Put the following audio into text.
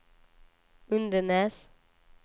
Undenäs